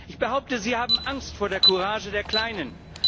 Ich behaupte, Sie haben Angst vor der Courage der Kleinen.